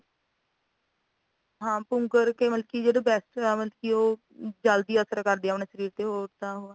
ਹਾਂ ਪੁੰਗਰ ਕੇ ਮਤਲਬ ਕਿ ਜਦੋ best